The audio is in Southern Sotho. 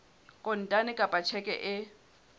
kontane kapa ka tjheke e